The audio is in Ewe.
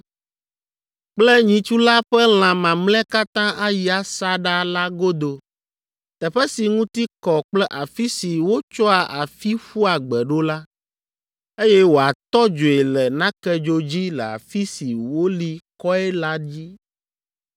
kple nyitsu la ƒe lã mamlɛa katã ayi asaɖa la godo, teƒe si ŋuti kɔ kple afi si wotsɔa afi ƒua gbe ɖo la, eye wòatɔ dzoe le nakedzo dzi le afi si woli kɔe la dzi.